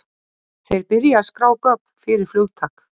þeir byrja að skrá gögn fyrir flugtak